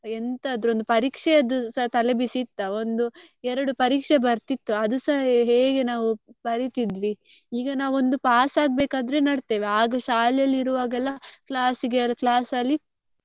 ಎಂತಾದ್ರೂ ಒಂದು ಪರೀಕ್ಷೆದ್ದು ಸ ತಲೆ ಬಿಸಿ ಇತ್ತಾ ಒಂದು ಎರಡು ಪರೀಕ್ಷೆ ಬರ್ತಿತ್ತು ಅದುಸ ಹೇಗೆ ನಾವ್ ಬರಿತಿದ್ವಿ ಈಗ ನಾವು ಒಂದು pass ಆಗ್ಬೇಕಾದ್ರೆ ನೋಡ್ತೆವೆ ಆಗ ಶಾಲೆಯಲ್ಲಿ ಇರುವಾಗೆಲ್ಲ class ಗೆ class ಅಲ್ಲಿ.